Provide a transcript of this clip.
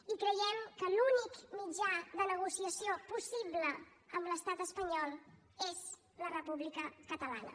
i creiem que l’únic mitjà de negociació possible amb l’estat espanyol és la república catalana